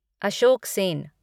Ashok Sen